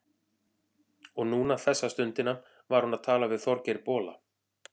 Og núna, þessa stundina, var hún að tala við Þorgeir bola.